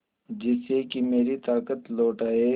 जिससे कि मेरी ताकत लौट आये